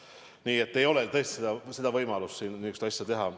Nii et ei ole tõesti võimalust siin niisugust asja teha.